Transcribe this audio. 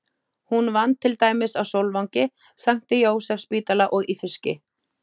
Hún vann til dæmis á Sólvangi, Sankti Jósefsspítala og í fiski.